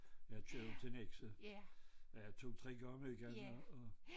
Jeg kører jo til Nexø øh 2 3 gange om ugen og